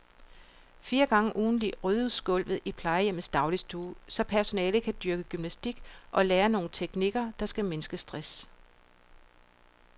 Fire gange ugentligt ryddes gulvet i plejehjemmets dagligstue, så personalet kan dyrke gymnastik og lære nogle teknikker, der skal mindske stress.